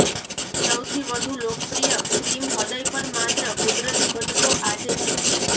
સૌથી વધુ લોકપ્રિય ક્રિમ હૃદય પર માત્ર કુદરતી ઘટકો આજે છે